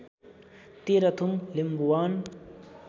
Terhathum Limbuwan